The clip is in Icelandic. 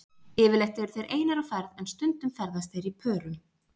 Yfirleitt eru þeir einir á ferð en stundum ferðast þeir í pörum.